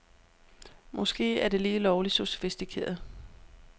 Måske er det lige lovligt sofistikeret.